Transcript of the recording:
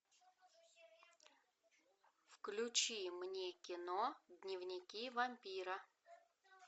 включи мне кино дневники вампира